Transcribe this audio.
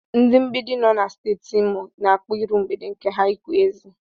Ndị mgbidi nọ na Steeti Imo n'akpọ iru mgbede nke ha Ịkwa ezi.